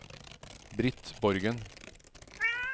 Britt Borgen